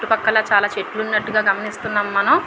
చుట్టూ పక్కల చాలా చెట్లు ఉన్నట్లు గ గమనిస్తున్నం మనం.